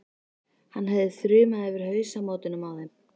Hann hefði þrumað yfir hausamótunum á þeim.